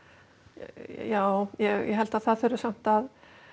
já ég held að það þurfi samt að